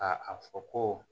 Ka a fɔ ko